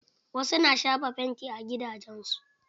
Wasu na shafa fanti a gidajen su.